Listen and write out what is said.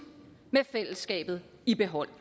med fællesskabet i behold